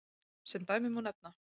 Sem dæmi má nefna: